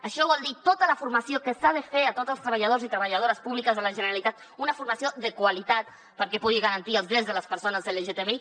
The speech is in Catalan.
això vol dir tota la formació que s’ha de fer a tots els treballadors i treballadores públiques de la generalitat una formació de qualitat perquè pugui garantir els drets de les persones lgtbi